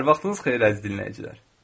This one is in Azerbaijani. Hər vaxtınız xeyir, əziz dinləyicilər.